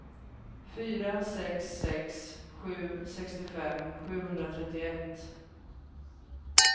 fyra sex sex sju sextiofem sjuhundratrettioett